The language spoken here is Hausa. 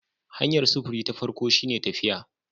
Hanyar sufuri ta farko shine tafiya